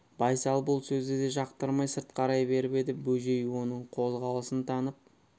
байсал бұл сөзді де жақтырмай сырт қарай беріп еді бөжей оның қозғалысын танып